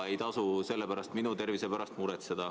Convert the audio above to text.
Ei tasu minu tervise pärast muretseda.